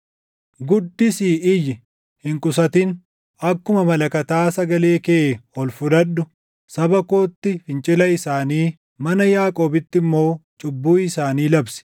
“Guddisii iyyi; hin qusatin. Akkuma malakataa sagalee kee ol fudhadhu. Saba kootti fincila isaanii, mana Yaaqoobitti immoo cubbuu isaanii labsi.